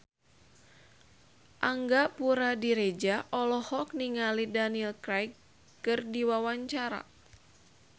Angga Puradiredja olohok ningali Daniel Craig keur diwawancara